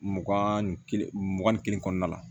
Mugan ni kelen mugan ni kelen kɔnɔna la